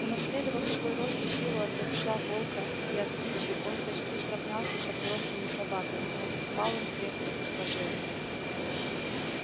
унаследовав свой рост и силу от отца волка и от кичи он почти сравнялся со взрослыми собаками но уступал им в крепости сложения